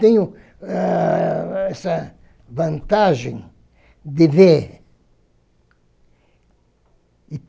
Tenho ãh... Essa vantagem de ver. E